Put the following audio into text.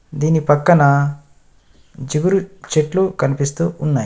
దీని పక్కన చిగురు చెట్లు కనిపిస్తూ ఉన్నాయి.